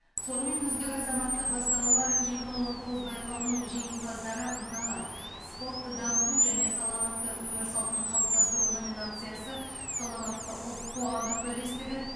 сонымен үздік азаматтық бастамалар екі мың он тоғыз байқауының жеңімпаздары мыналар спортты дамыту және саламатты өмір салтын қалыптастыру номинациясы саламатты ұлт қоғамдық бірлестігі